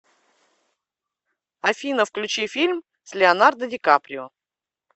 афина включи фильм с леонардо ди каприо